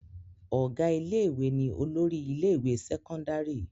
Ọ̀gá ilé-ìwé ni olórí ilé-ìwé sẹ́kọ́ndárì.